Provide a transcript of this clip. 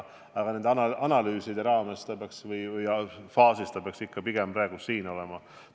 Aga analüüside raames või faasis peaks juhtimine ikka pigem praegu sedaviisi toimuma.